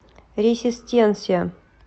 ресистенсия